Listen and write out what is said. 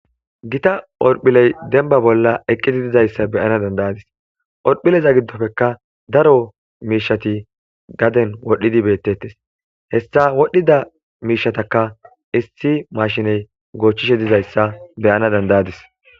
Gita horphiley demba bolla eqqiti dizayssa beyana dandayadis orphileza giddofeka daro miishati gaden wodhdhidi beettettes hessa wodhdhida miishataka issi mashiney goochchishe dizayssa beyana dandayadis.